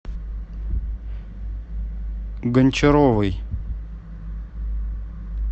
гончаровой